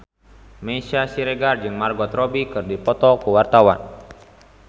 Meisya Siregar jeung Margot Robbie keur dipoto ku wartawan